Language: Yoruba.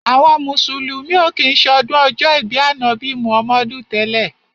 Àwọn mùsùlùmí ò kí ń ṣọdún ọjọ́ ìbí Ànábì Muhammadu tẹ́lẹ̀.